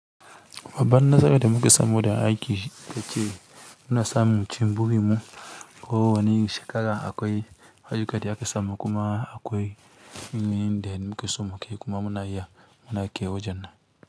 Babban nasarar da muka samu da aiki da ce muna samun cin buhunmu ko wani shekara akwai aiyuka da aka samu kuma akwai manyan da muke so mu kai kuma muna iya munakai wajen nan.